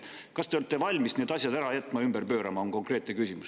Kas te olete valmis need asjad ära jätma ja ümber pöörama, on konkreetne küsimus.